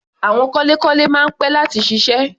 Àwọn kọ́lékọ́lé máa ń pẹ́ láti ṣiṣẹ́.